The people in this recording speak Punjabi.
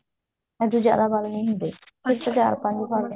ਉਹਦੇ ਚ ਜਿਆਦਾ ਵਲ ਨੀ ਹੁੰਦੇ ਅੱਛਾ ਉਹਦੇ ਚ ਚਾਰ ਪੰਜ ਵਲ